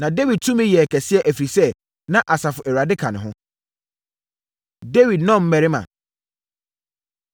Na Dawid tumi yɛɛ kɛseɛ, ɛfiri sɛ, na Asafo Awurade ka ne ho. Dawid Nnɔmmarima